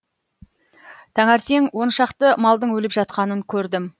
таңертең он шақты малдың өліп жатқанын көрдім